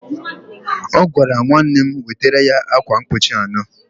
Ọ gwara nwanne m wetara ya akwa mkpuchi anọ